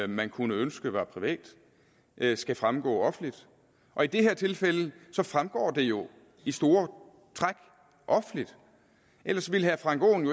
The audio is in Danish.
man kunne ønske var privat skal fremgå offentligt og i det her tilfælde fremgår det jo i store træk offentligt ellers ville herre frank aaen